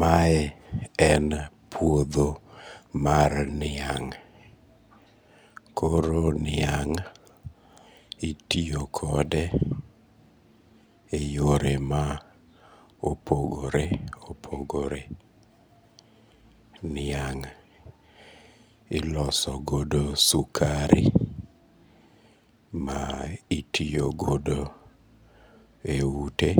Mae en puodho mar niang', koro niang' itiyo kode e yore ma opogore opogore, niang' ilosogogo sukari ma itiyogo e ute